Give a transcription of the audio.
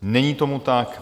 Není tomu tak.